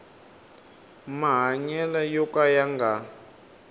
mahanyelo yo ka ya nga